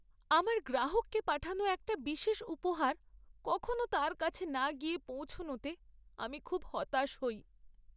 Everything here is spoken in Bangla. আমার গ্রাহককে পাঠানো একটা বিশেষ উপহার কখনো তার কাছে না গিয়ে পৌঁছনোতে আমি খুব হতাশ হই।